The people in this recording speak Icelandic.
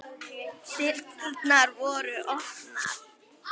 Dyrnar voru opnar.